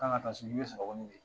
Ka kan ka taa sini, i bɛ n'u ye.